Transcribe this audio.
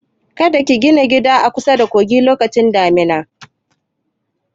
Kada ka gina gida a kusada kogi lokacin damuna!